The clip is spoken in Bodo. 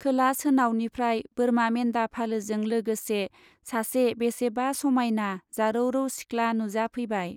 खोला सोनावनिफ्राय बोरमा मेन्दा फालोजों लोगोसे सासे बेसेबा समाइना जारौरौ सिख्ला नुजाफैबाय।